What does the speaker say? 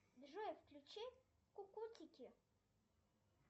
джой включи кукутики